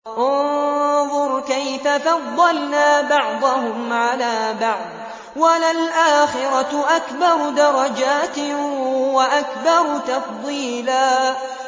انظُرْ كَيْفَ فَضَّلْنَا بَعْضَهُمْ عَلَىٰ بَعْضٍ ۚ وَلَلْآخِرَةُ أَكْبَرُ دَرَجَاتٍ وَأَكْبَرُ تَفْضِيلًا